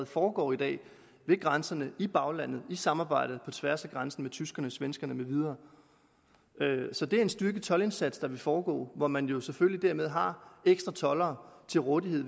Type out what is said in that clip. foregår i dag ved grænserne i baglandet i samarbejde på tværs af grænserne med tyskerne svenskerne med videre så det er en styrket toldindsats der vil foregå hvor man jo selvfølgelig dermed har ekstra toldere til rådighed